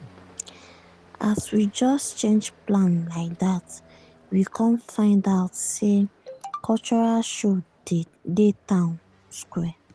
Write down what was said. as we just change plan like dat we com find out say cultural show dey town square.